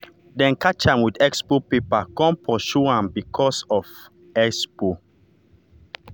them catch am with expo paper come pursue am because am for expo.